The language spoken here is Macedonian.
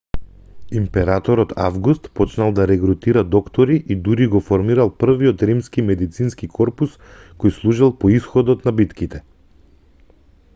императорот август почнал да регрутира доктори и дури го формирал првиот римски медицински корпус кој служел по исходот на битките